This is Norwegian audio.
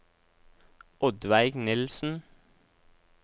Oddveig Nilsen